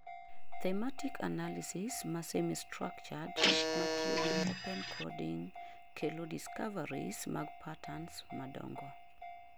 thematic analysis ma semi-structured matiyo gi open coding kelo discoveries mag patterns madongo